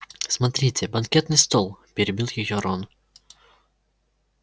смотрите банкетный стол перебил её рон